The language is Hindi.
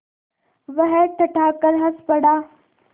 वह ठठाकर हँस पड़ा